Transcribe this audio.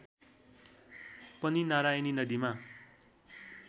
पनि नारायणी नदीमा